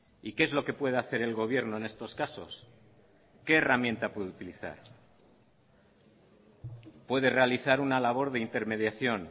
y qué es lo que puede hacer el gobierno en estos casos qué herramienta puede utilizar puede realizar una labor de intermediación